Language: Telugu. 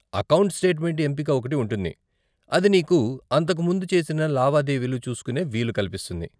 అకౌంట్ స్టేట్మెంట్ ఎంపిక ఒకటి ఉంటుంది, అది నీకు అంతకు ముందు చేసిన లావాదేవీలు చూస్కునే వీలు కల్పిస్తుంది.